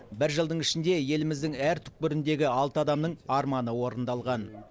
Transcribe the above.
бір жылдың ішінде еліміздің әр түкпіріндегі алты адамның арманы орындалған